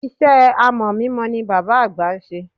Iṣẹ́ amọ̀ mímọ ni bàbá àgbà ń ṣe.